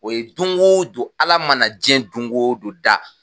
O ye don go don, Ala mana diɲɛ don go don da.